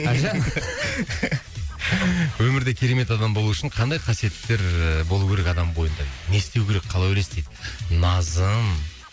әлжан өмірде керемет адам болу үшін қандай қасиеттер ііі болу керек адам бойында не істеу керек қалай ойлайсыз дейді назым